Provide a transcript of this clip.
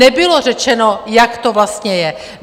Nebylo řečeno, jak to vlastně je.